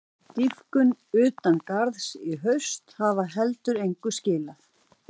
Dýpkun utan garða í haust hafi heldur engu skilað.